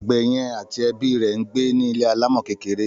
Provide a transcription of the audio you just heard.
Àgbè yẹn àti ẹbí rè ńgbé ni ilé alámò kékeré